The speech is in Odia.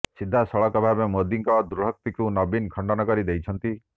ସିଧାସଳଖ ଭାବେ ମୋଦିଙ୍କ ଦୃଢ଼ୋକ୍ତିକୁ ନବୀନ ଖଣ୍ଡନ କରି ଦେଇଛନ୍ତି